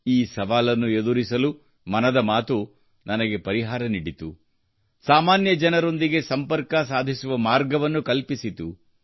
ಈ ಸವಾಲನ್ನು ಎದುರಿಸಲು ಮನದ ಮಾತು ನನಗೆ ಪರಿಹಾರವನ್ನು ನೀಡಿತು ಸಾಮಾನ್ಯ ಜನರೊಂದಿಗೆ ಸಂಪರ್ಕ ಸಾಧಿಸುವ ಮಾರ್ಗವನ್ನು ಕಲ್ಪಿಸಿತು